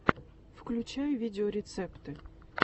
включай видеорецепты